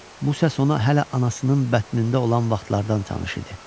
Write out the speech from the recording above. Bu səs ona hələ anasının bətnində olan vaxtlardan tanış idi.